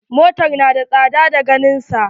Motar na da tsada da ganin sa.